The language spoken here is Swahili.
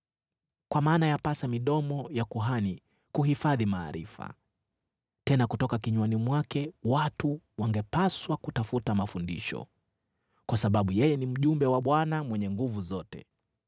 “Kwa maana yapasa midomo ya kuhani kuhifadhi maarifa. Tena kutoka kinywani mwake watu wangepaswa kutafuta mafundisho, kwa sababu yeye ni mjumbe wa Bwana Mwenye Nguvu Zote.